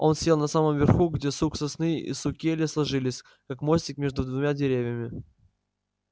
он сел на самом верху где сук сосны и сук ели сложились как мостик между двумя деревьями